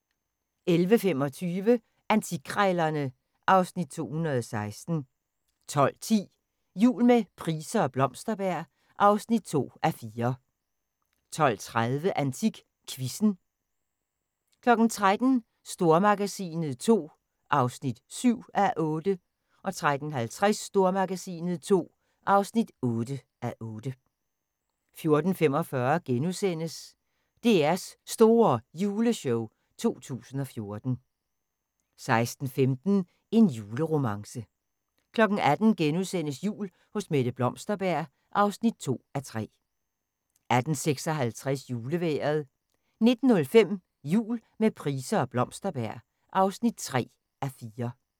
11:25: Antikkrejlerne (Afs. 216) 12:10: Jul med Price og Blomsterberg (2:4) 12:30: AntikQuizzen 13:00: Stormagasinet II (7:8) 13:50: Stormagasinet II (8:8) 14:45: DR's Store Juleshow 2014 * 16:15: En juleromance 18:00: Jul hos Mette Blomsterberg (2:3)* 18:56: Julevejret 19:05: Jul med Price og Blomsterberg (3:4)